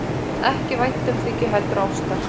Ekki væntumþykju heldur ástar.